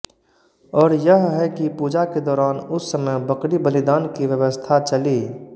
और यह है कि पूजा के दौरान उस समय बकरी बलिदान की व्यवस्था चली